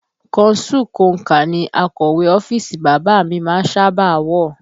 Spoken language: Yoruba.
Kọnsú konkà ní akọ̀wé ọ́fíìsì bàbá a mi má ń sábà a wọ